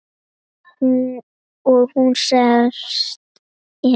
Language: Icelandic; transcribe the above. Og hún selst enn.